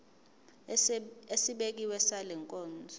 esibekiwe sale nkonzo